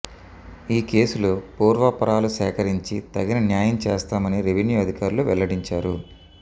ఈ కేసులో పూర్వాపరాలు సేకరించి తగిన న్యాయం చేస్తామని రెవెన్యూ అధికారులు వెల్లడించారు